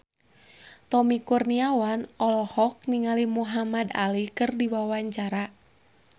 Tommy Kurniawan olohok ningali Muhamad Ali keur diwawancara